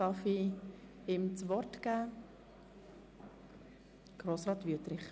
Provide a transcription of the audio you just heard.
Ich erteile dem Antragsteller das Wort.